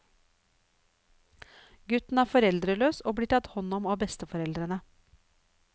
Gutten er foreldreløs og blir tatt hånd om av besteforeldrene.